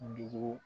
Dugu